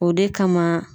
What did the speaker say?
O de kama